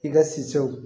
I ka siw